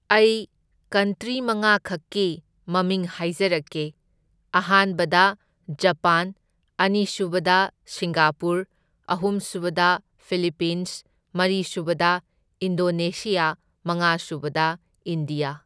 ꯑꯩ ꯀꯟꯇ꯭ꯔꯤ ꯃꯉꯥꯈꯛꯀꯤ ꯃꯃꯤꯡ ꯍꯥꯏꯖꯔꯛꯀꯦ, ꯑꯍꯥꯟꯕꯗ ꯖꯄꯥꯟ ꯑꯅꯤꯁꯨꯕꯗ ꯁꯤꯡꯒꯥꯄꯨꯔ ꯑꯍꯨꯝꯁꯨꯕꯗ ꯐꯤꯂꯤꯄꯤꯟꯁ ꯃꯔꯤꯁꯨꯕꯗ ꯏꯟꯗꯣꯅꯦꯁꯤꯌꯥ ꯃꯉꯥꯁꯨꯕꯗ ꯏꯟꯗ꯭ꯌꯥ꯫